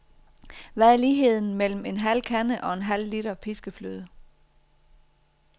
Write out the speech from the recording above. Hvad er ligheden mellem en halv kande og en halv liter piskefløde?